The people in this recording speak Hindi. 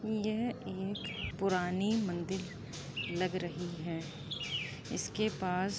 यह एक पुरानी मंदिर लग रही है| इसके पास --